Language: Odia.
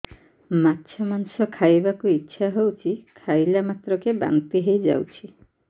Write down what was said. ମାଛ ମାଂସ ଖାଇ ବାକୁ ଇଚ୍ଛା ହଉଛି ଖାଇଲା ମାତ୍ରକେ ବାନ୍ତି ହେଇଯାଉଛି